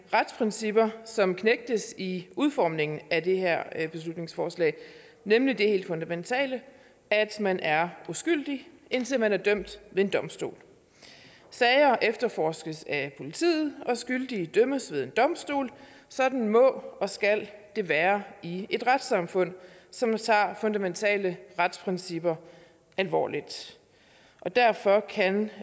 retsprincipper som knægtes i udformningen af det her beslutningsforslag nemlig det helt fundamentale at man er uskyldig indtil man er dømt ved en domstol sager efterforskes af politiet og skyldige dømmes ved en domstol sådan må og skal det være i et retssamfund som tager fundamentale retsprincipper alvorligt derfor kan